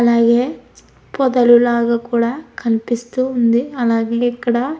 అలాగే పొదలు లాగా కూడా కనిపిస్తుంది. అలాగే ఇక్కడ --